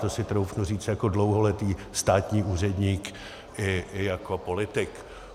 To si troufnu říct jako dlouholetý státní úředník i jako politik.